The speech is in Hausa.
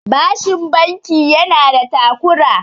bashin banki yana da takura